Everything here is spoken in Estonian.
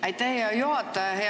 Aitäh, hea juhataja!